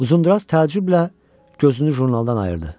Uzundraz təəccüblə gözünü jurnalından ayırdı.